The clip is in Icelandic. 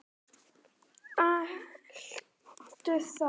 Ætlarðu þá?